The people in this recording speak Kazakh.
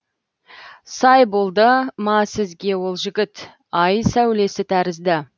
сай болды ма сізге ол жігіт ай сәулесі тәрізді